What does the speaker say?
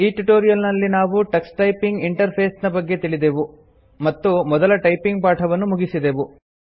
ಈ ಟ್ಯುಟೋರಿಯಲ್ ನಲ್ಲಿ ನಾವು ಟಕ್ಸ್ ಟೈಪಿಂಗ್ ಇಂಟರ್ಫೆಸ್ ನ ಬಗ್ಗೆ ತಿಳಿದೆವು ಮತ್ತು ಮೊದಲ ಟೈಪಿಂಗ್ ಪಾಠವನ್ನು ಮುಗಿಸಿದೆವು